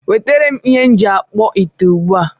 Wetaram ihe m ji akpu ite ugbu a!